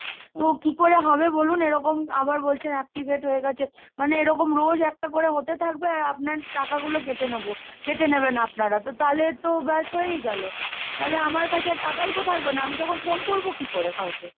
তো কি করে হবে বলুন এরকম আবার বলছেন activate হয়ে গেছে, মানে এরকম রোজ একটা করে হতে থাকবে আর আপনার টাকা গুলো কেটে নেবো, কেটে নেবেন আপনারা, তো তাহলে তো ব্যস হয়েই গেলো, তাহলে আমার কাছে আর টাকাই তো থাকবে না, আমি তখন ফোন করবো কি করে কাউকে?